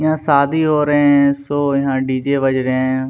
यहाँ शादी हो रहे है शो यहाँ डी. जे बज रहे है।